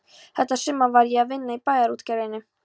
Þetta sumar var ég að vinna í Bæjarútgerðinni.